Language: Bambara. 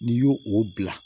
N'i y'o o bila